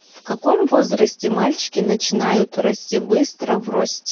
в каком возрасте мальчики начинают расти быстро в росте